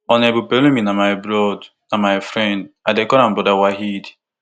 honourable pelumi na my broad na my friend i dey call am broda waheed